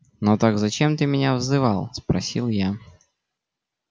ну так зачем ты меня вызывал спросил я